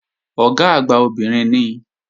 Ọ̀gá àgbà obìnrin ni